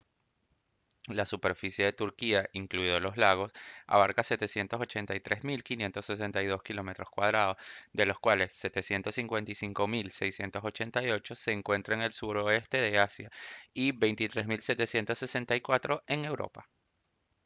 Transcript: la superficie de turquía incluidos los lagos abarca 783.562 kilómetros cuadrados de los cuales 755.688 se encuentran en el suroeste de asia y 23.764 en europa